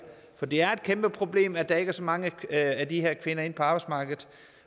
for det er et kæmpeproblem at der ikke er så mange af de her kvinder inde på arbejdsmarkedet